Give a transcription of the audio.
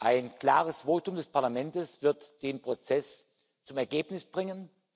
Ein klares Votum des Parlaments wird den Prozess zum Ergebnis bringen.